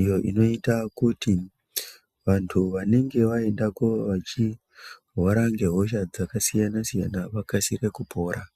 iyo inoita kuti vantu vanenge vaendako vachirwara nehosha dzakasiyana siyana vawane kupora.